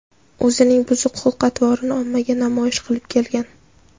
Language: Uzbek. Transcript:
o‘zining buzuq xulq-atvorini ommaga namoyish qilib kelgan.